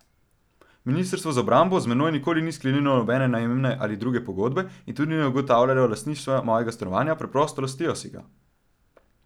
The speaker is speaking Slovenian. Ministrstvo za obrambo z menoj nikoli ni sklenilo nobene najemne ali druge pogodbe in tudi ne ugotavljalo lastništva mojega stanovanja, preprosto lastijo si ga.